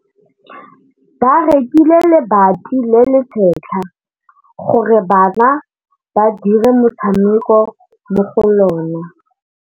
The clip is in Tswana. Ba rekile lebati le le setlha gore bana ba dire motshameko mo go lona.